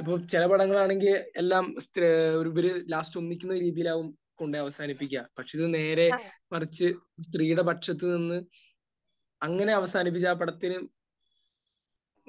ഇപ്പോൾ ചില പടങ്ങളാണെങ്കിൽ എല്ലാം ഇവർ ലാസ്റ്റ് ഒന്നിക്കുന്ന രീതിയിലായിരിക്കും കൊണ്ടുപോയി അവസാനിപ്പിക്കുക. പക്ഷെ ഇത് നേരെ മറിച്ച് സ്ത്രീയുടെ പക്ഷത്ത് നിന്ന്, അങ്ങനെ അവസാനിപ്പിച്ച് ആ പടത്തിൽ